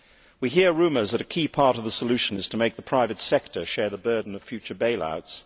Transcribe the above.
We hear rumours that a key part of the solution is to make the private sector share the burden of future bail outs.